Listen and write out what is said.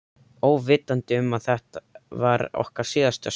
Óvitandi um að þetta var okkar síðasta stund.